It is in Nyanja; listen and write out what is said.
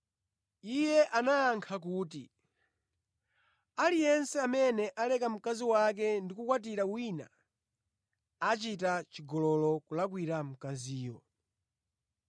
Iye anayankha kuti, “Aliyense amene aleka mkazi wake ndi kukakwatira wina achita chigololo kulakwira mkaziyo.